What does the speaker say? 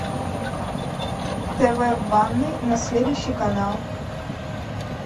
тв в ванной на следующий канал